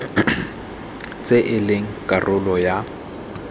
tse e leng karolo ya